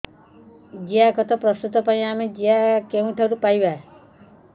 ଜିଆଖତ ପ୍ରସ୍ତୁତ ପାଇଁ ଆମେ ଜିଆ କେଉଁଠାରୁ ପାଈବା